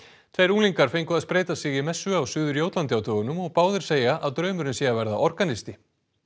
tveir unglingar fengu að spreyta sig í messu á Suður Jótlandi á dögunum og báðir segja að draumurinn sé að verða organisti